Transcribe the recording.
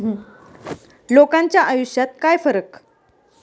लोकांच्या आयुष्यात काय फरक?